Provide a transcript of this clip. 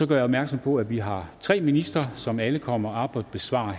gør opmærksom på at vi har tre ministre som alle kommer op og besvarer